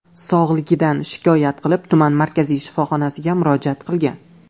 sog‘lig‘idan shikoyat qilib, tuman markaziy shifoxonasiga murojaat qilgan.